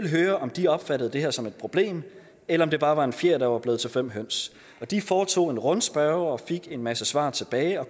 at høre om de opfattede det her som et problem eller om det bare var en fjer der var blevet til fem høns de foretog en rundspørge og fik en masse svar tilbage og